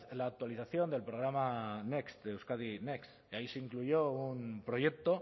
la actualización del programa euskadi next y ahí se incluyó un proyecto